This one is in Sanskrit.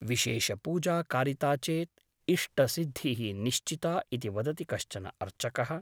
विशेषपूजा कारिता चेत् इष्ट सिद्धिः निश्चिता ' इति वदति कश्चन अर्चकः ।